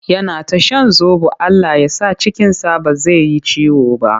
Yana ta shan zoɓo Allah ya sa cikinsa ba zai yi ciwo ba.